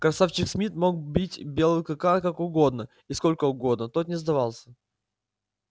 красавчик смит мог бить белого клыка как угодно и сколько угодно тот не сдавался